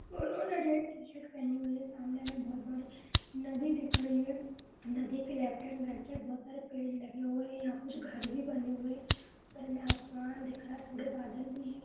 उन्होंने red T-shirt पहनी हुई है। सामने हमें बहुत बड़ी नदी दिख रही है। नदी के लेफ्ट एण्ड राइट साइड बोहोत सारे पेड़ लगे हुए हैं। यहां कुछ घर भी बने हुए हैं। ऊपर हमें आसमान दिख रहा है। थोड़े बादल भी है।